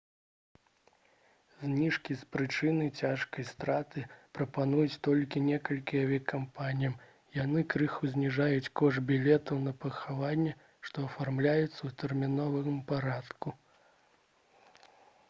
зніжкі з прычыны цяжкай страты прапануюць толькі некалькі авіякампаній яны крыху зніжаюць кошт білетаў на пахаванне што афармляюцца ў тэрміновым парадку